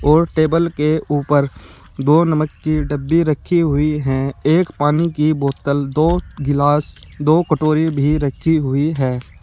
और टेबल के ऊपर दो नमक की डब्बी रखी हुई हैं एक पानी की बोतल दो गिलास दो कटोरी भी रखी हुई है।